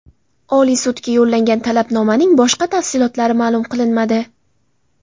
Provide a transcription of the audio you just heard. Oliy sudga yo‘llangan talabnomaning boshqa tafsilotlari ma’lum qilinmadi.